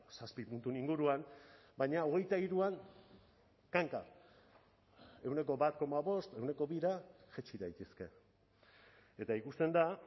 zazpi puntuen inguruan baina hogeita hiruan kanka ehuneko bat koma bost ehuneko bira jaitsi daitezke eta ikusten da